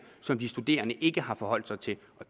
som de studerende ikke har forholdt sig til